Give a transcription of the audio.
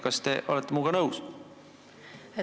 Kas te olete minuga nõus?